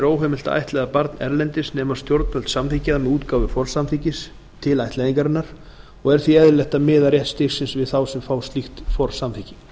er óheimilt að ættleiða barn erlendis nema stjórnvöld samþykki það með útgáfu forsamþykkis til ættleiðingarinnar og er því eðlilegt að miða rétt til styrksins við þá sem fá slíkt forsamþykki